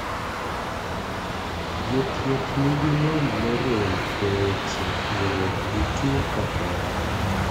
Jothieh ni gi lony morem e weche goruok gi tuo kahera,.